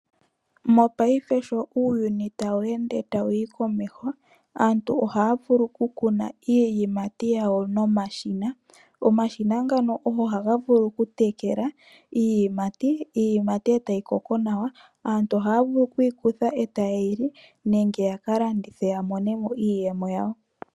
Mongaashingeyi sho uuyuni tawu ende tawuyi komeho, aantu ohaya vulu oku kuna iiyimati yawo momashina. Omashina ngano ohaga vulu oku tekela iiyimati, etayi koko nawa. Aantu ohaya vulu okuyi kutha etaye yili, nenge yaka landithe ya monemo iiyemo yawo.